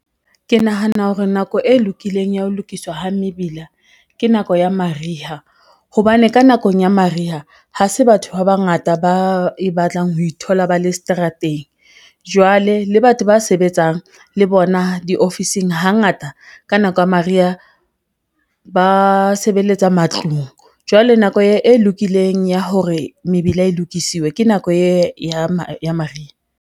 Ke nahana hore nako e lokileng ya ho lokiswa ha mebila ke nako ya mariha, hobane ka nakong ya mariha ha se batho ba bangata ba e batlang ho ithola ba le seterateng. Jwale le batho ba sebetsang le bona diofising hangata ka nako ya mariha ba sebeletsa matlung, jwale nako e lokileng ya hore mebila e lokisiwe ke nako ya mariha.